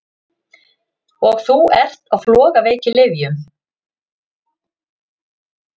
Og þú ert á flogaveikilyfjum!